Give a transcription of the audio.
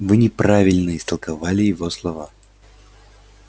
вы неправильно истолковали его слова